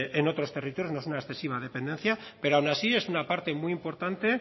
en otros territorios no es una excesiva dependencia pero aun así es una parte muy importante